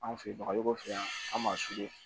Anw fɛ yen bagajugu fɛ yan an b'a